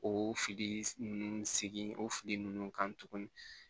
O fili ninnu segin o fili ninnu kan tuguni